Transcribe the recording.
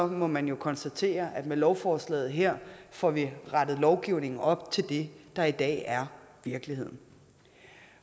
må man jo konstatere at med lovforslaget her får vi rettet lovgivningen op til det der i dag er virkeligheden